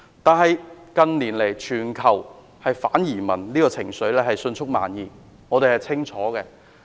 但是，近年全球反移民的情緒迅速蔓延，這點我們都明白。